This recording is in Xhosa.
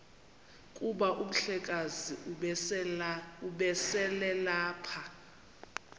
kuba umhlekazi ubeselelapha